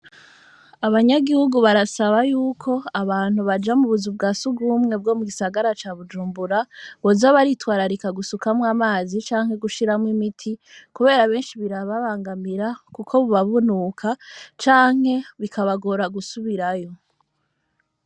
Abanyagihugu barasaba y'uko, abantu baja mu buzu bwa surwumwe bwo mu gisagara ca Bujumbura, boza baritwararika gusukamwo amazi canke gushiramwo imiti, kubera benshi birababangamira kuko buba bunuka canke bikabagora gusubirayo.